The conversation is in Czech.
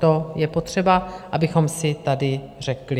To je potřeba, abychom si tady řekli.